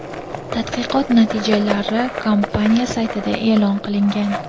Tadqiqot natijalari kompaniya saytida e’lon qilingan .